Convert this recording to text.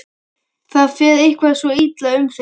Það fer eitthvað svo illa um þig.